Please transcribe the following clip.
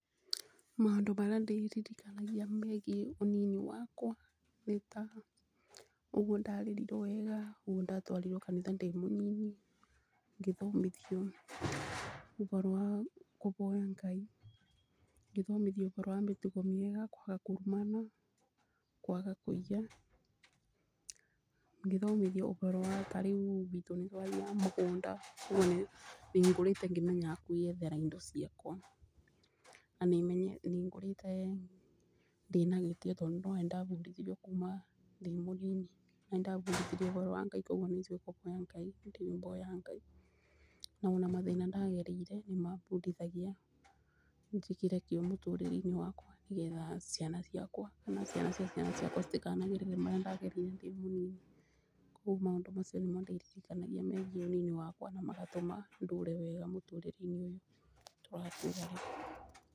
Maũndũ marĩa ndiririkanagia megiĩ ũnini wakwa nĩ ta ũguo ndarerirwo wega. ũguo ndatwarirwo kanitha ndĩ mũnini.Ngĩthomithio ũboro wa kũboya Ngai.Ngĩthomithio ũboro wa mĩtugo mĩega. Kwaga kũrumana. Kwaga kũiya. Ngĩthomithio ũboro wa ta rĩu gwitũ nĩtwathiaga mũgũnda. ũguo nĩ ngũrĩte ngĩmenyaga kwĩyethera indo ciakwa. Na nĩngũrĩte ndĩ na gĩtĩo tondũ nĩwona nĩndabundithirio kuma ndĩ mũnini. Na nĩ ndabundithirio ũboro wa Ngai na kũboya Ngai. Ndĩboya Ngai. Na ona mathĩna ndagereire nĩmabundithagia njĩkĩre kĩo mũtũrĩre-inĩ wakwa nĩgetha ciana ciakwa, kana ciana cia ciana ciakwa citikanagerere marĩa ndagereire ndĩ mũnini. Koguo maũndũ macio nĩmo ndirikanagia megiĩ ũnini wakwa na magatũma ndũũre wega mũtũrĩre-inĩ ũyũ tũratũũra.